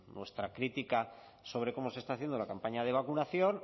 nuestra crítica sobre cómo se está haciendo la campaña de vacunación